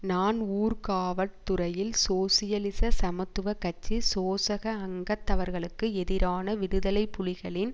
நான் ஊர்காவற்துறையில் சோசியலிச சமத்துவ கட்சி சோசக அங்கத்தவர்களுக்கு எதிரான விடுதலை புலிகளின்